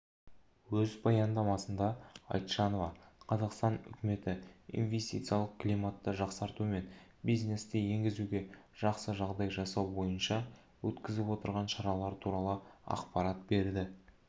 өз баяндамасында айтжанова қазақстан үкіметі инвестициялық климатты жақсарту мен бизнесті енгізуге жақсы жағдай жасау бойынша өткізіп отырған шаралар туралы ақпарат берді